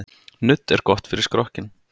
Nudd er gott fyrir skrokkinn.